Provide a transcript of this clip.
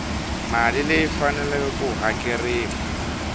mali leyi faneleke ku hakeriwa